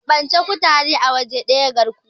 keɓance kutare a waje daya garkuwa ne